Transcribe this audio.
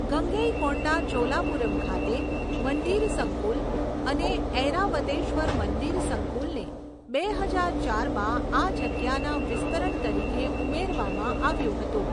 ગંગૈકોંડા ચોલાપુરમ ખાતે મંદિર સંકુલ અને ઐરાવતેશ્વર મંદિર સંકુલને બે હજાર ચારમાં આ જગ્યાના વિસ્તરણ તરીકે ઉમેરવામાં આવ્યું હતું.